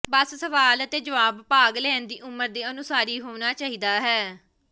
ਬਸ ਸਵਾਲ ਅਤੇ ਜਵਾਬ ਭਾਗ ਲੈਣ ਦੀ ਉਮਰ ਦੇ ਅਨੁਸਾਰੀ ਹੋਣਾ ਚਾਹੀਦਾ ਹੈ